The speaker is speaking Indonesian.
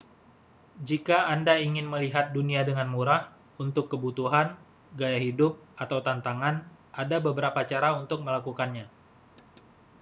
jika anda ingin melihat dunia dengan murah untuk kebutuhan gaya hidup atau tantangan ada beberapa cara untuk melakukannya